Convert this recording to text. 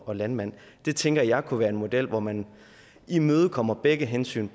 og landmand det tænker jeg kunne være en model hvor man imødekommer begge hensyn